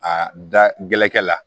A da gɛlɛnkɛ la